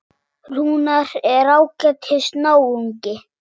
Rúnar er ágætis náungi.